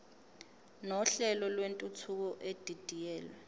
nohlelo lwentuthuko edidiyelwe